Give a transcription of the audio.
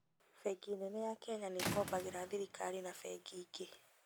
Bengi nene ya Kenya nĩkombagĩra thirikari na bengi ingĩ